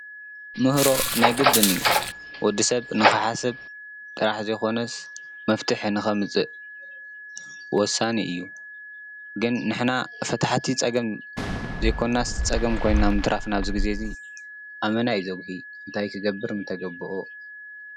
ምህሮ ናይ ግድን እዩ። ወዲ ሰብ ንኽሓስብ ጥራሕ ዘይኾነስ መፍትሒ ንኸምፅእ ወሳኒ እዩ። ግን ንሕና ፈታሕቲ ፀገም ዘይኾናስ ፀገም ኮይና ምትራፍና ኣብዚ ግዜ ኣመና እዩ ዘጉሂ። እንታይ ክገብር ምተገበኦ?